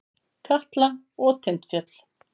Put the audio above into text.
Katla og Tindfjöll.